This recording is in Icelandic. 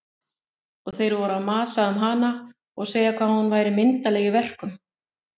Og þeir voru að masa um hana og segja hvað hún væri myndarleg í verkum.